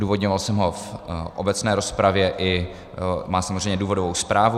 Odůvodňoval jsem ho v obecné rozpravě a má samozřejmě důvodovou zprávu.